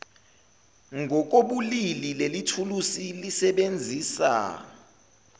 ngokobulili lelithuluzi lisebenzisa